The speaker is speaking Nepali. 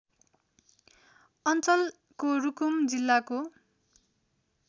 अञ्चलको रुकुम जिल्लाको